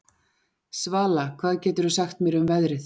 Svala, hvað geturðu sagt mér um veðrið?